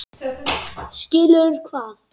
Skilur hvað?